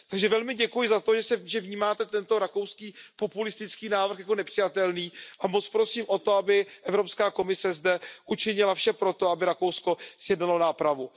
Takže velmi děkuji za to, že vnímáte tento rakouský populistický návrh jako nepřijatelný, a moc prosím o to, aby Evropská komise zde učinila vše pro to, aby Rakousko sjednalo nápravu.